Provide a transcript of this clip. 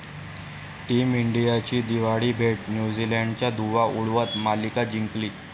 team इंडियाची दिवाळी भेट, न्यूझीलंडचा धुव्वा उडवत मालिका जिंकली